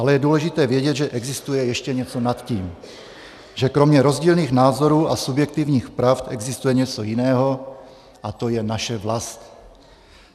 Ale je důležité vědět, že existuje ještě něco nad tím, že kromě rozdílných názorů a subjektivních pravd existuje něco jiného, a to je naše vlast.